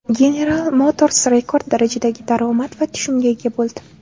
General Motors rekord darajadagi daromad va tushumga ega bo‘ldi.